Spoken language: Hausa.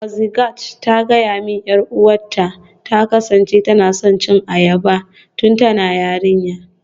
Mazuqat ta gaya min 'yar uwarta ta kasance tana son cin abarba tun tana yarinya.